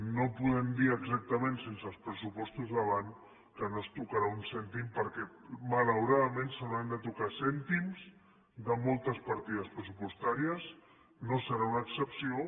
no podem dir exactament sense els pressupostos davant que no es tocarà un cèntim perquè malauradament s’hauran de tocar cèntims de moltes partides pressupostàries no serà una excepció